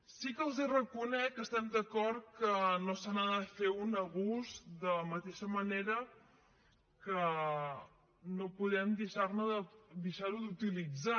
sí que els reconec que estem d’acord que no se n’ha de fer un abús de la mateixa manera que no podem deixar lo d’utilitzar